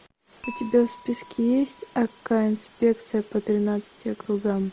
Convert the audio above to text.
у тебя в списке есть акка инспекция по тринадцати округам